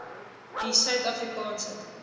die suid afrikaanse